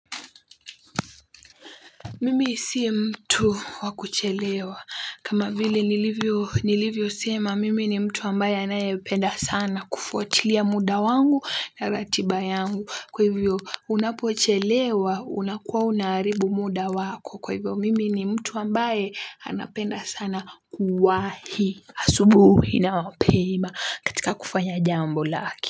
Mimi si mtu wa kuchelewa kama vile nilivyo nilivyo sema mimi ni mtu ambaye anayependa sana kufuatilia muda wangu na ratiba yangu kwa hivyo unapochelewa unakuwa unaharibu muda wako kwa hivyo mimi ni mtu ambaye anapenda sana kuwahi asubui na mapema katika kufanya jambo lake.